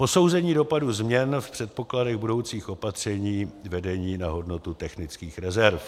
Posouzení dopadu změn v předpokladech budoucích opatření vedení na hodnotu technických rezerv.